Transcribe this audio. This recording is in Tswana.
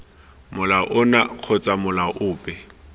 molao ono kgotsa molao ope